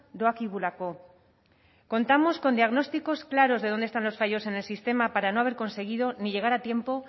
doakigulako contamos con diagnósticos claros de dónde están los fallos en el sistema para no haber conseguido ni llegar a tiempo